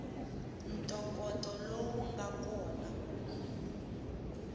ntokoto lowu nga kona ku